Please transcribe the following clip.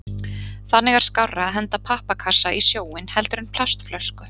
Þannig er skárra að henda pappakassa í sjóinn heldur en plastflösku.